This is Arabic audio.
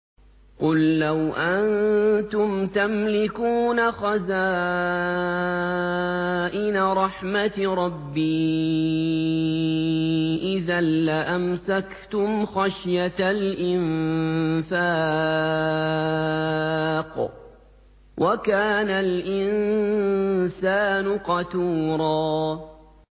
قُل لَّوْ أَنتُمْ تَمْلِكُونَ خَزَائِنَ رَحْمَةِ رَبِّي إِذًا لَّأَمْسَكْتُمْ خَشْيَةَ الْإِنفَاقِ ۚ وَكَانَ الْإِنسَانُ قَتُورًا